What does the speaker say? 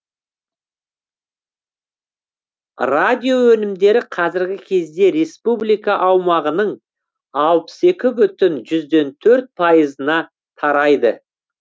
радио өнімдері қазіргі кезде республика аумағының алпыс екі бүтін жүзден төрт пайызына тарайды